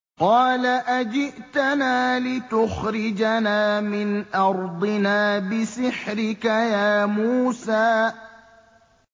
قَالَ أَجِئْتَنَا لِتُخْرِجَنَا مِنْ أَرْضِنَا بِسِحْرِكَ يَا مُوسَىٰ